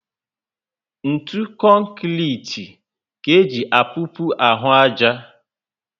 Ntụ konkrete ka eji apopu ahụ aja